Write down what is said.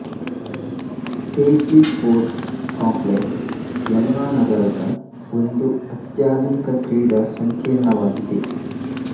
Tejli sports complex Yamuna ನಗರದ ಒಂದು ಅತ್ಯಾಧುನಿಕ ಕ್ರೀಡಾ ಸಂಕೀರ್ಣವಾಗಿದೆ